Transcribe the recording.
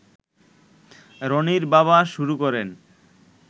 রনির বাবা শুরু করেন